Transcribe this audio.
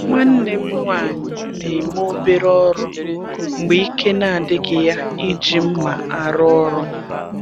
Nwanne m nwanyị na-eme obere ọrụ mgbe ike na-adịghị ya iji mma arụ ọrụ.